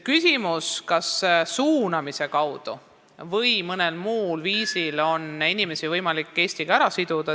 Küsimus oli, kas suunamise kaudu või mõnel muul viisil on võimalik inimesi Eestiga siduda.